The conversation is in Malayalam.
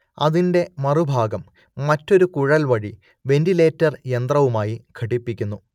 അതിന്റെ മറുഭാഗം മറ്റൊരു കുഴൽ വഴി വെന്റിലേറ്റർ യന്ത്രവുമായി ഘടിപ്പിക്കുന്നു